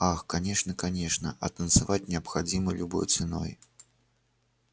ах конечно конечно а танцевать необходимо любой ценой